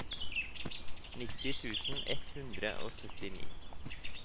nitti tusen ett hundre og syttini